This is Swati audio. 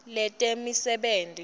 letemisebenti